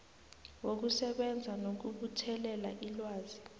wokusebenza nokubuthelela ilwazi